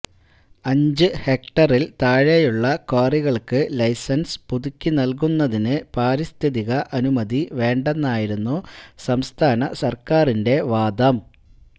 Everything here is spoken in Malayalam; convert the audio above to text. അഞ്ച് ഹെക്ടറില് താഴെയുള്ള ക്വാറികള്ക്ക് ലൈസന്സ് പുതുക്കി നല്കുന്നതിന് പാരിസ്ഥിതിക അനുമതി വേണ്ടെന്നായിരുന്നു സംസ്ഥാന സര്ക്കാരിന്റെ വാദം